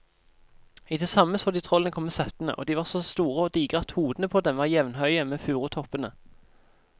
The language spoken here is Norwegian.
I det samme så de trollene komme settende, og de var så store og digre at hodene på dem var jevnhøye med furutoppene.